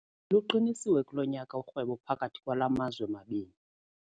Luqinisiwe kulo nyaka urhwebo phakathi kwala mazwe mabini.